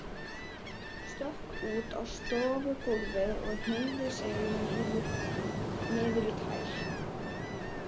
Stökk út á stofugólfið og hneigði sig niður í tær.